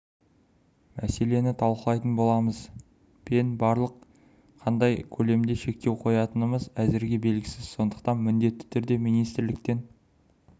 мәселені талқылайтын боламыз пен бірақ қандай көлемде шектеу қоятынымыз әзірге белгісіз сондықтан міндетті түрде министрліктен